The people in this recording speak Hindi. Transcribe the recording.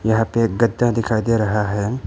यहां पे एक गच्चा दिखाई दे रहा है।